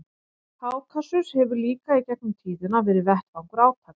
Kákasus hefur líka í gegnum tíðina verið vettvangur átaka.